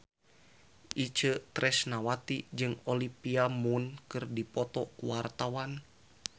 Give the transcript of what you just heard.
Itje Tresnawati jeung Olivia Munn keur dipoto ku wartawan